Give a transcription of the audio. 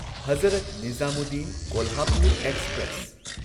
Hazrat Nizamuddin Kolhapur express